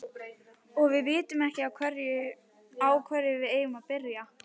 Og við vitum ekki á hverju við eigum að byrja.